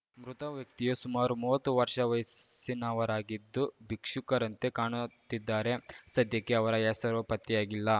ಮೃತ ವ್ಯಕ್ತಿಯು ಸುಮಾರು ಮೂವತ್ತು ವರ್ಷ ವಯಸ್ಸಿನವರಾಗಿದ್ದು ಭಿಕ್ಷುಕರಂತೆ ಕಾಣುತ್ತಿದ್ದಾರೆ ಸದ್ಯಕ್ಕೆ ಅವರ ಹೆಸರು ಪತ್ತೆಯಾಗಿಲ್ಲ